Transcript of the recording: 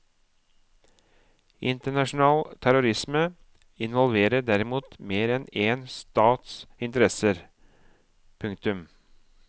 Internasjonal terrorisme involverer derimot mer enn én stats interesser. punktum